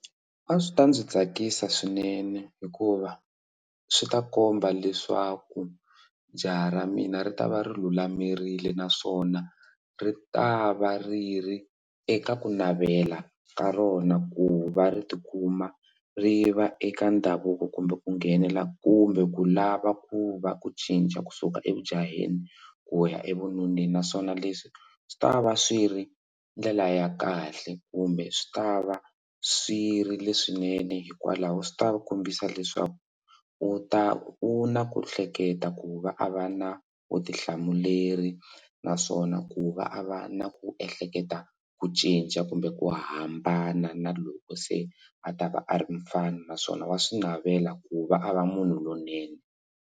A swi ta ndzi tsakisa swinene hikuva swi ta komba leswaku jaha ra mina ri ta va ri lulamerile naswona ri ta va ri ri eka ku navela ka rona ku va ri tikuma ri va eka ndhavuko kumbe ku nghenela kumbe ku lava ku va ku cinca kusuka evujaheni ku ya evununeni naswona leswi swi ta va swi ri ndlela ya kahle kumbe swi ta va swi ri leswinene hikwalaho swi ta kombisa leswaku u ta u na ku hleketa ku va a va na vutihlamuleri naswona ku va a va na ku ehleketa ku cinca kumbe ku hambana na loko se a ta va a ri mufana naswona va swi navela ku va a va munhu lonene.